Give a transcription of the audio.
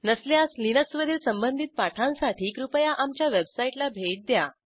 नसल्यास लिनक्सवरील संबंधित पाठांसाठी कृपया आमच्या वेबसाईटला भेट द्या